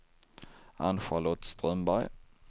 Ann-Charlotte Strömberg